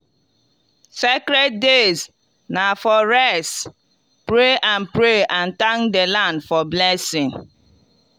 sacred days na for rest pray and pray and thank the land for blessings.